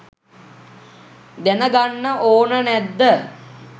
දැනගන්න ඕන නැද්ද?